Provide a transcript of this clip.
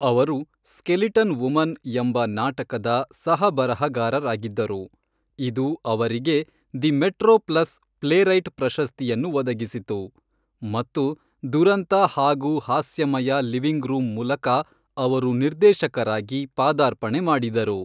ಅವರು Skeleton Woman ಎಂಬ ನಾಟಕದ ಸಹ-ಬರಹಗಾರರಾಗಿದ್ದರು, ಇದು ಅವರಿಗೆ ದಿ ಮೆಟ್ರೊ ಪ್ಲಸ್ ಪ್ಲೇರೈಟ್ ಪ್ರಶಸ್ತಿಯನ್ನು ಒದಗಿಸಿತು, ಮತ್ತು ದುರಂತ ಹಾಗೂ ಹಾಸ್ಯಮಯ ಲಿವಿಂಗ್ ರೂಮ್ ಮೂಲಕ ಅವರು ನಿರ್ದೇಶಕರಾಗಿ ಪಾದಾರ್ಪಣೆ ಮಾಡಿದರು.